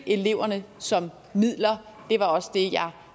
eleverne som midler det var også det jeg